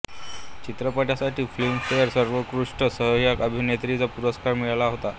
चित्रपटासाठी फिल्मफेर सर्वोत्कृष्ट सहायक अभिनेत्रीचा पुरस्कार मिळाला होता